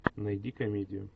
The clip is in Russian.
найди комедию